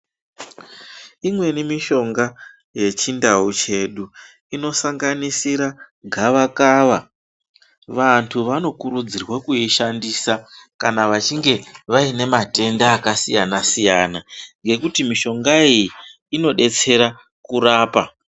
Imweni mishonga yechindau chedu inosanganisira gavakava vanthu vanokurudzirwa kuishandisa kana vachinge vaine matenda akasiyana siyana ngekuti mishonga iyi inodetsera kurapa.